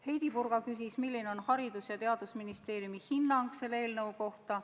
Heidy Purga küsis, milline on Haridus- ja Teadusministeeriumi hinnang eelnõu kohta.